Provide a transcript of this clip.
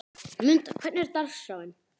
Munda, hvernig er dagskráin?